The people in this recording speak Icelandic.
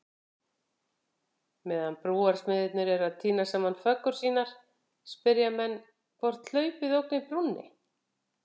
Meðan brúarsmiðirnir eru að týna saman föggur sínar, spyrja menn hvort hlaupið ógni brúnni?